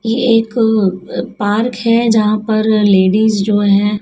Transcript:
ये एक पार्क है जहां पर लेडिस जो है--